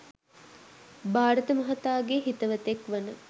භාරත මහතාගේ හිතවතෙක්‌ වන